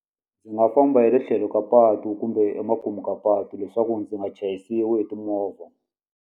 Ndzi nga famba hi le tlhelo ka patu kumbe emakumu ka patu leswaku ndzi nga chayisiwi hi timovha.